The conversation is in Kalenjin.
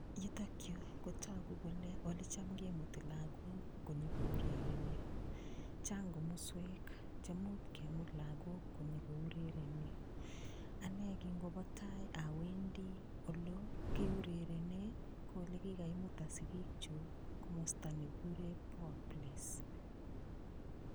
Yutok yu kotagu kole olecham kemuti lagok konyogourerenio. Chang komoswek che much kemut lagok konyogourerenio. Anne kingobotai awendi olookiurerene, ko olegikaimuta sigikyuk komosta ne kigure Poaplace.